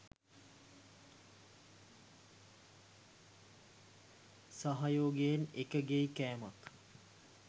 සහයෝගයෙන් එකගෙයි කෑමක්